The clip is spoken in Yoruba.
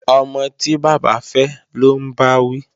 Ọmọ tí bàbá fẹ́ lọ́ ń bá wí